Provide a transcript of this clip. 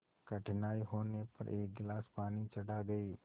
कठिनाई होने पर एक गिलास पानी चढ़ा गए